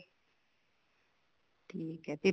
ਠੀਕ ਏ ਤੇ